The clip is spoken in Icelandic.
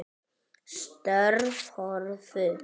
Störf hurfu.